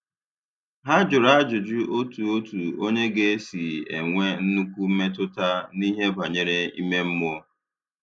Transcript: Ha jụrụ ajụjụ otu otu onye ga - esi enwe nnukwu mmetụta n'ihe banyere ime mmụọ.